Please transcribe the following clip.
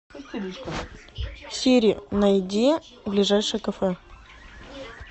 сири найди ближайшее кафе